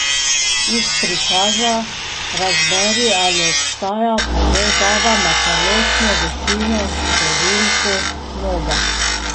Iz prikaza razberi, ali obstaja povezava med telesno višino in številko noge.